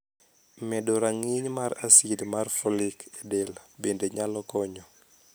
Medo rang`iny mar asid mar follic e del bende nyalo konyo.